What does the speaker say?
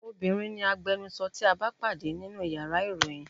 Obinrin ni agbẹnusọ tí a bá pàdé nínú yàrá ìròyìn.